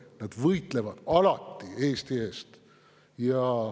Nad võitlevad alati Eesti eest.